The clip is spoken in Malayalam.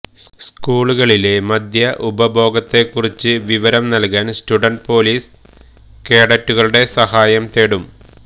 സ്കൂളുകളിലെ മദ്യ ഉപഭോഗത്തെ കുറിച്ച് വിവരം നല്കാന് സ്റ്റുഡന്റ് പോലീസ് കേഡറ്റുകളുടെ സഹായം തേടും